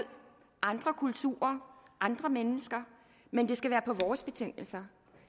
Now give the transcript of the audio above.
andre kulturer andre mennesker men det skal være på vores betingelser